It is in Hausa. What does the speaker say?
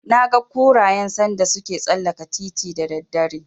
Naga kurayen sanda suke tsallaka titin da daddare.